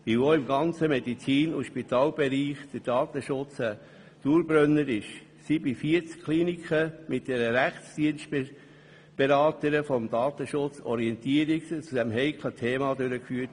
Weil der Datenschutz auch im ganzen Medizin- und Spitalbereich ein Dauerbrenner ist, wurden bei 40 Kliniken gemeinsam mit einer Rechtsdienst-Beraterin des Datenschutzes Orientierungen zu diesem heiklen Thema durchgeführt.